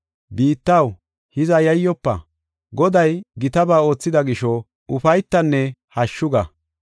Biittaw, hiza yayyofa; Goday gitaba oothida gisho, ufaytanne hashshu ga!